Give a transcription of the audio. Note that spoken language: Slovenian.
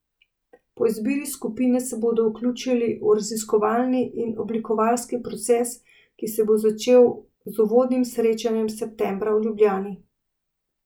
Po izbiri skupine se bodo vključili v raziskovalni in oblikovalski proces, ki se bo začel z uvodnim srečanjem septembra v Ljubljani.